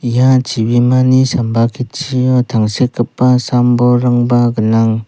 ia chibimani samba ketchio tangsekgipa sam-bolrangba gnang.